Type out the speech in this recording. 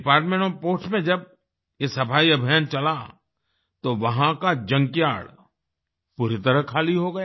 department of post में जब ये सफाई अभियान चला तो वहाँ का जंकयार्ड पूरी तरह खाली हो गया